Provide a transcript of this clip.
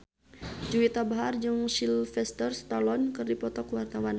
Juwita Bahar jeung Sylvester Stallone keur dipoto ku wartawan